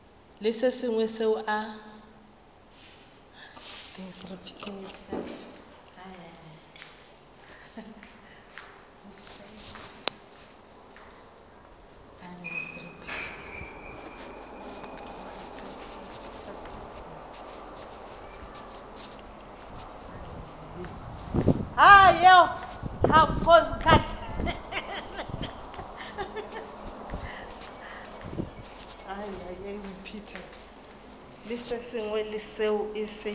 le se sengwe seo a